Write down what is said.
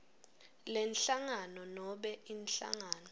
lenhlangano nobe inhlangano